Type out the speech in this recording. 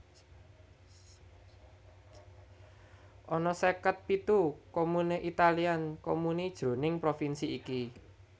Ana seket pitu comune Italian comuni jroning provinsi iki